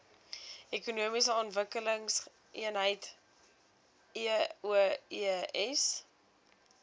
ekonomiese ontwikkelingseenhede eoes